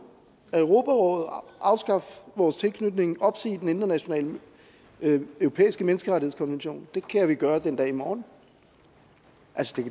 af europarådet afskaffe vores tilknytning og opsige den europæiske menneskerettighedskonvention det kan vi gøre den dag i morgen